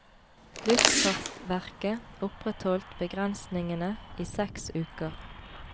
Luftfartsverket opprettholdt begrensningene i seks uker.